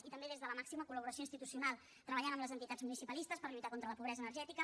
i també des de la màxima col·laboració institucional treballant amb les entitats municipalistes per lluitar contra la pobresa energètica